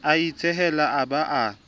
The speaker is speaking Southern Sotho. a itshehela a ba a